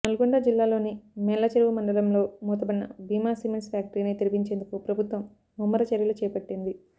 నల్లగొండ జిల్లాలోని మేళ్ళచేరువు మండలంలో మూతపడిన భీమా సిమెంట్స్ ఫ్యాక్టరీని తెరిపించేందుకు ప్రభుత్వం ముమ్మర చర్యలు చేపట్టింది